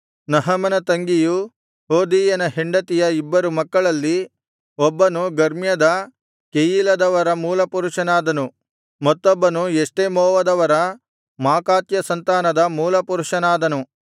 ನಹಮನ ತಂಗಿಯೂ ಹೋದೀಯನ ಹೆಂಡತಿಯ ಇಬ್ಬರು ಮಕ್ಕಳಲ್ಲಿ ಒಬ್ಬನು ಗರ್ಮ್ಯದ ಕೆಯೀಲದವರ ಮೂಲಪುರುಷನಾದನು ಮತ್ತೊಬ್ಬನು ಎಷ್ಟೆಮೋವದವರ ಮಾಕಾತ್ಯ ಸಂತಾನದ ಮೂಲಪುರುಷನಾದನು